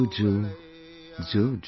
Jojo...jo